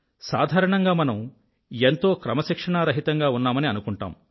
సాధారణంగా మనం ఎంతో క్రమశిక్షణారహితంగా ఉన్నామని అనుకుంటాం